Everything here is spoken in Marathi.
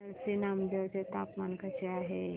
नरसी नामदेव चे तापमान कसे आहे